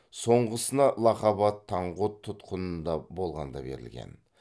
соңғысына лақап ат таңғұт тұтқынында болғанда берілген